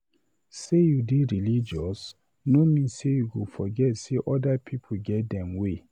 Sey you dey religious no mean say you go forget sey other pipu get dem way.